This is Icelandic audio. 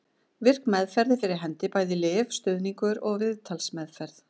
Virk meðferð er fyrir hendi, bæði lyf, stuðningur og viðtalsmeðferð.